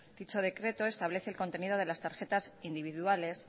dicho decreto establece el contenido de las tarjetas individuales